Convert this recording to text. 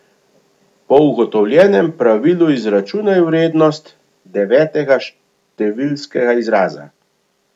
Po ugotovljenem pravilu izračunaj vrednost devetega številskega izraza.